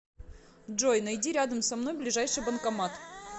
джой найди рядом со мной ближайший банкомат